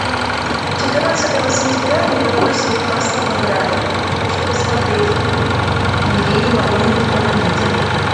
четырнадцатого сентября ливерпуль с ньюкаслом играли хочу посмотреть нигде не могу найти помогите